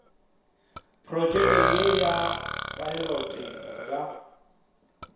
protšekeng ye ya phaelote ba